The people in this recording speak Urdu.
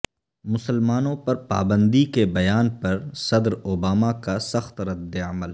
مسلمانوں پر پابندی کے بیان پر صدر اوباما کا سخت ردعمل